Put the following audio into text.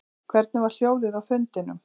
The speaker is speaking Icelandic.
Hvernig var hljóðið á fundinum